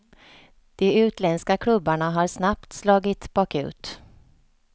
De utländska klubbarna har snabbt slagit bakut.